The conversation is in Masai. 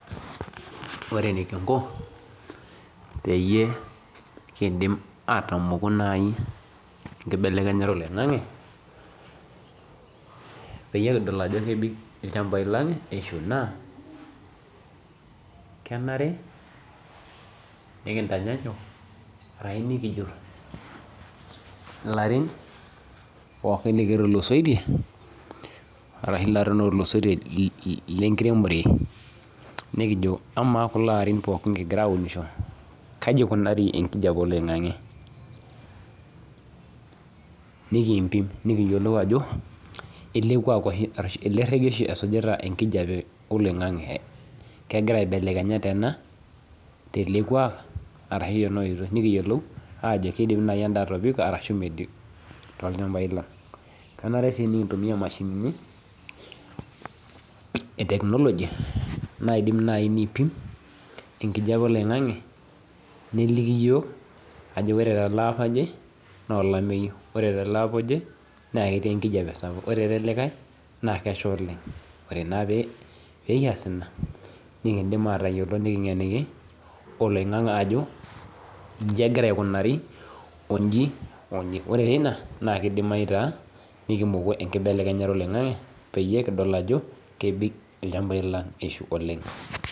Ore enikingo peyie kidim atomoku enkibelekenyata oloingangi peyie kidol ajo kepik lchambai lang ishu na kenare nikijut larin pooki otulusoitie tenkiremore nekijo ama kulo Arin pooki kingira aunisho kaja ikunari enkijape oloingangi nikimpim nikiyiolou ajo elerege esujita nkibelekenyat oloingangi kegira aibelekenya tena telekuak ashu tenaoitoi nikiyiolou ana kidim ena tolchamba lang kenare si nikintumia mashinini e technology naidim nipim enkijape oloingangi neliki yiok ore teleapa naolameyu ore tolapa oje na ekitii enkijape ore elde likae na kesha oleng ore pekias ina nikingeniki oloingangi ajo inji egira aikunari onji onji ore teina na enkibelekenyata oloingangi pekidol ajo kebik ilchambai lang ishu oleng.